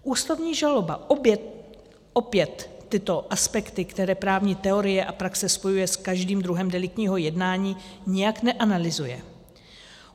Ústavní žaloba opět tyto aspekty, které právní teorie a praxe spojuje s každým druhem deliktního jednání, nijak neanalyzuje.